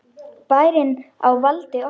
Bærinn á valdi okkar!